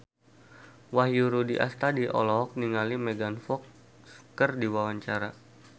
Wahyu Rudi Astadi olohok ningali Megan Fox keur diwawancara